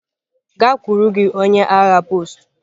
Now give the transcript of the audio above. Gakwuru gị onye agha post!